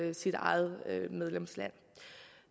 ens eget medlemsland